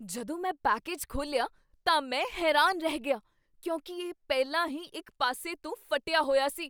ਜਦੋਂ ਮੈਂ ਪੈਕੇਜ ਖੋਲ੍ਹਿਆ ਤਾਂ ਮੈਂ ਹੈਰਾਨ ਰਹਿ ਗਿਆ ਕਿਉਂਕਿ ਇਹ ਪਹਿਲਾਂ ਹੀ ਇੱਕ ਪਾਸੇ ਤੋਂ ਫਟਿਆ ਹੋਇਆ ਸੀ!